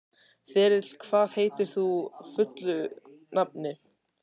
Þyrill, hvað heitir þú fullu nafni?